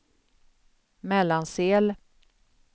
Mellansel